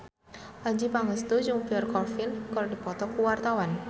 Adjie Pangestu jeung Pierre Coffin keur dipoto ku wartawan